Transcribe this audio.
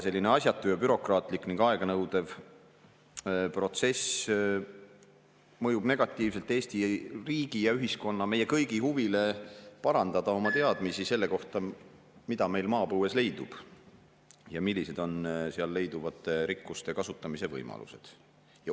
Selline asjatu, bürokraatlik ning aeganõudev protsess mõjub negatiivselt Eesti riigi ja ühiskonna, meie kõigi huvile parandada oma teadmisi selle kohta, mida meil maapõues leidub ja millised on seal leiduvate rikkuste kasutamise võimalused.